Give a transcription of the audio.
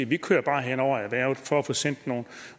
vi kører bare hen over erhvervet